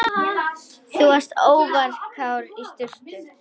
Þú varst óvarkár í sturtu.